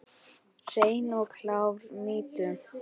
Hreina og klára mýtu?